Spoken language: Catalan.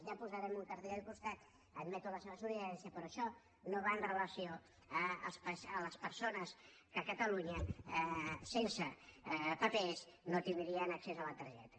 ja hi posarem un cartell al costat admeto el seu suggeriment però això no va amb relació a les persones que a catalunya sense papers no tindrien accés a la targeta